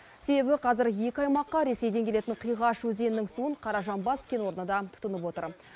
себебі қазір екі аймаққа ресейден келетін қиғаш өзенінің суын қаражанбас кен орны да тұтынып отыр